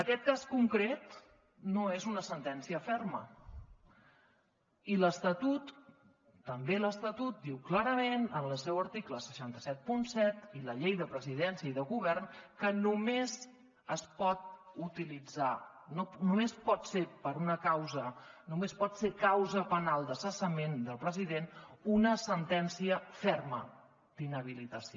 aquest cas concret no és una sentència ferma i l’estatut també l’estatut diu clarament en el seu article sis cents i setanta set i la llei de presidència i de govern que només pot ser causa penal de cessament del president una sentència ferma d’inhabilitació